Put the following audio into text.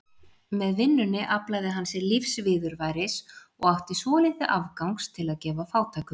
Með vinnunni aflaði hann sér lífsviðurværis og átti svolítið afgangs til að gefa fátækum.